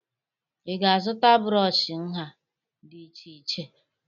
Ị ga-azụta brọọshị nha dị iche iche